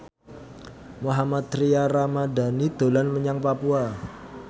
Mohammad Tria Ramadhani dolan menyang Papua